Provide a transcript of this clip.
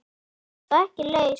En þú ert sko ekki laus.